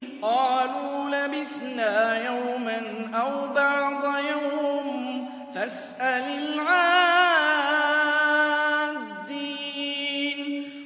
قَالُوا لَبِثْنَا يَوْمًا أَوْ بَعْضَ يَوْمٍ فَاسْأَلِ الْعَادِّينَ